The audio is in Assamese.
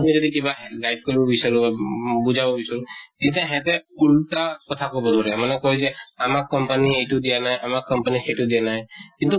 আপুনি যদি কিবা guide কৰিব বিচাৰো উম বা বুজাব বিচাৰো, তেতিয়া সেহেঁতে উল্টা কথা কʼব ধৰে মানে কয় যে, আমাক company য়ে এইটো দিয়া নাই , আমাক company য়ে সেইটো দিয়া নাই । কিন্তু